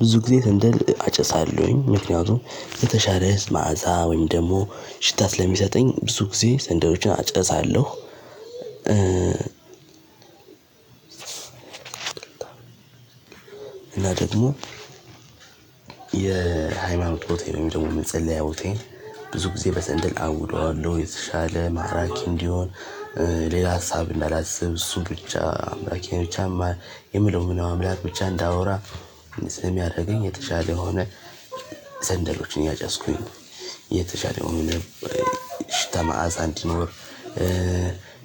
ብዙ ጊዜ ሰንደል አጨሳለሁኝ ምክንያቱም የተሻለ መዓዛ ወይም ደግሞ ሽታ ስለሚሰጠኝ ብዙ ጊዜ ሰንደሎችን አጨሳለሁ። እና ደግሞ የሃይማኖት ቦታዬን ደግሞ መጸልያ ቦታዬን። ብዙ ጊዜ በሰንድል አውደዋለሁኝ የተሻለ እና ማራኪ እንዲሆን። ሌላ ሀሳብ እንዳላስብ እሱ ብቻ አምላኬ ብቻ የምለው ምናምን አምላክ ብቻ እንዳወራ። ስም ያደረገኝ የተሻለ የሆነ። ሰንደሎችን እያጨስኩኝ የተሻለ የሆነ ሽታ መዓዛ አንዲ ኖር።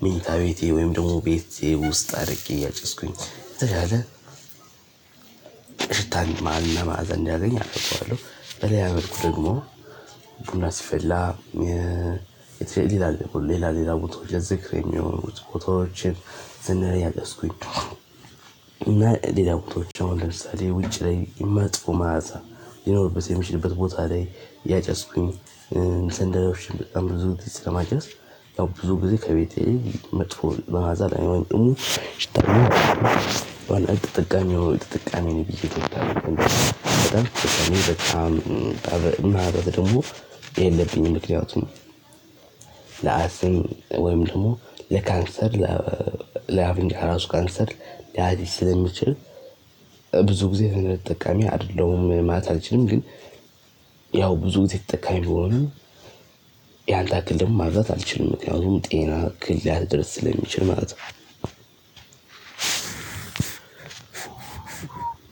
መኝታ ቤቴ ወይም ደግሞ ቤቴ ውስጥ አድርጌ እያጨስኩኝ ተቻለ። ሽታን ማዕዘን እንዳያገኝ አደርገዋለሁ። በሌላ ያመልኩ ደግሞ ቡና ሲፈላ የትሬሊላ ሌላ ሌላ ቦታው ለዝግር የሚሆኑት ቦታዎችን ዘነረ ያገስኩኝ። እና ሌላ ፎቶዎች አሁን ለምሳሌ ውጪ ላይ መጥፎ ማለት ይኖርብህ የምሽትበት ቦታ ላይ ያጨስኩኝ። ሰንደል ለኩሼ በጣም ብዙ ስለማጨስ ያው ብዙ ጊዜ ከቤቴ መጥፎ መዓዛ ላይሆን ጥሩ ጭጥር። አልጠጠቃሚም ጥቃሚው ጥቃሚ ነው። ብዬ እንደውም በጣም በጣም ማህበብ ደግሞ የለብኝም። ምክንያቱም ለአስም ወይም ደግሞ ለካንሰር ላቪንግ ራሱ ካንሰር ሊያሲዝ ስለሚችል። ብዙ ጊዜ ጥቃሚ አይደለም ማለት አልችልም ግን። ያው ብዙ ተጠቃሚ ብሆንም ያንያክል ደም ማብዛት አልችልም ምክንያቱም የጤና እክል ሊያደርስ ስለሚችል ማለት ነው። እንደዚህ አይነት ሰው አለም